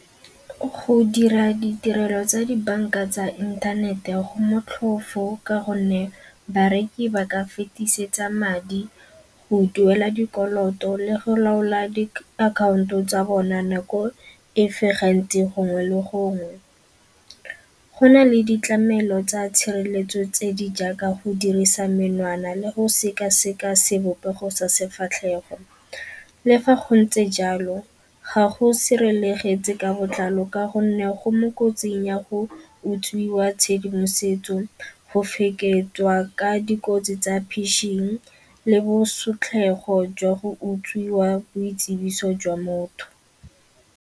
Go dira ditirelo tsa dibanka tsa inthanete go motlhofo ka gonne bareki ba ka fetisetsa madi go duela dikoloto le go laola diakhaonto tsa bona nako efe gantsi gongwe le gongwe. Go na le ditlamelo tsa tshireletso tse di jaaka go dirisa menwana le go sekaseka sebopego sa sefatlhego. Le fa go ntse jalo ga go sirelegetse ka botlalo ka gonne go mo kotsing ya go utswiwa tshedimosetso, go feketswa ka dikotsi tsa pishing le bosotlhego jwa go utswiwa boitsibiso jwa motho.